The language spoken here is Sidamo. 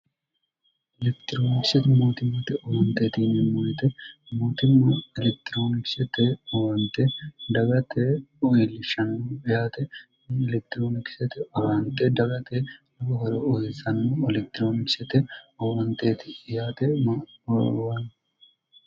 elekitiroonikisete mootimmate owanteetine moyite mootimma elektiroonikisete owante dagate uwiilishnn yaateni elektiroonikisete owante dagate lobo horo ohesanno elekitiroonikisete owanteeti yaate mwanno